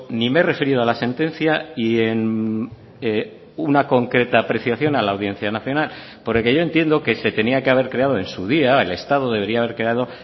ni me he referido a la sentencia y en una concreta apreciación a la audiencia nacional porque yo entiendo que se tenía que haber creado en su día el estado debería haber creado